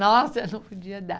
Nossa, não podia dar.